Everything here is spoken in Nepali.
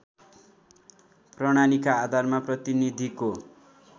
प्रणालीका आधारमा प्रतिनीधिको